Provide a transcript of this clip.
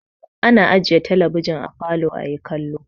Ana ajiye talabijin a falo ayi kallo.